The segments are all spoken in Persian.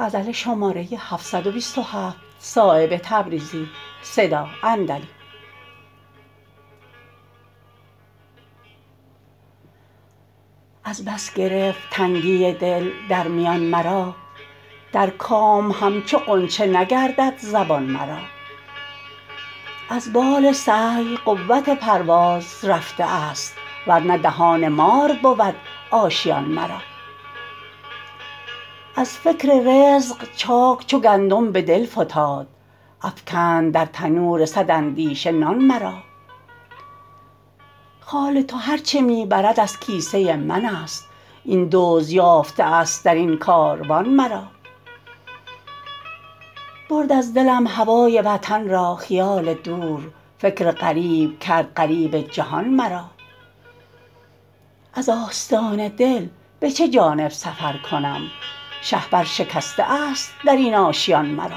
از بس گرفت تنگی دل در میان مرا در کام همچو غنچه نگردد زبان مرا از بال سعی قوت پرواز رفته است ورنه دهان مار بود آشیان مرا از فکر رزق چاک چو گندم به دل فتاد افکند در تنور صد اندیشه نان مرا خال تو هر چه می برد از کیسه من است این دزد یافته است درین کاروان مرا برد از دلم هوای وطن را خیال دور فکر غریب کرد غریب جهان مرا از آستان دل به چه جانب سفر کنم شهپر شکسته است درین آشیان مرا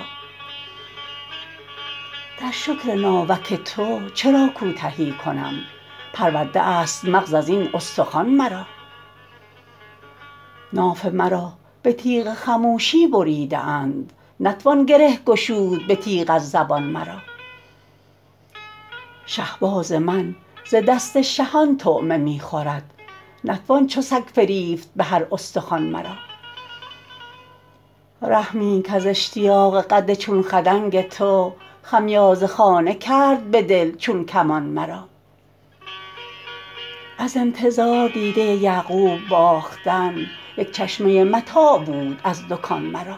در شکر ناوک تو چرا کوتهی کنم پرورده است مغز ازین استخوان مرا ناف مرا به تیغ خموشی بریده اند نتوان گره گشود به تیغ از زبان مرا شهباز من ز دست شهان طعمه می خورد نتوان چو سگ فریفت به هر استخوان مرا رحمی کز اشتیاق قد چون خدنگ تو خمیازه خانه کرد به دل چون کمان مرا از انتظار دیده یعقوب باختن یک چشمه متاع بود از دکان مرا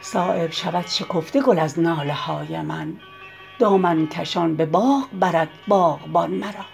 صایب شود شکفته گل از ناله های من دامن کشان به باغ برد باغبان مرا